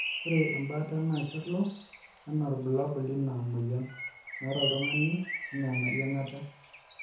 kore embaata naa kelo anaa irbulabul lina moyian naata oltungani anaa eyiangata